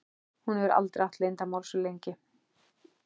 Hún hefur aldrei átt leyndarmál svo lengi.